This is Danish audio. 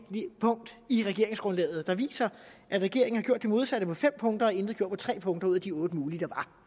punkt i regeringsgrundlaget jeg viser at regeringen har gjort det modsatte på fem punkter og intet har gjort på tre punkter ud af de otte mulige der